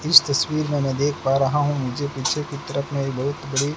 इस तस्वीर मे में देख पा रहा हूं मुझे पीछे कुत्र अपने बहोत बड़े--